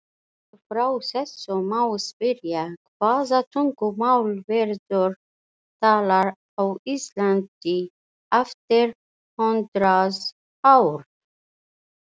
Út frá þessu má spyrja: Hvaða tungumál verður talað á Íslandi eftir hundrað ár?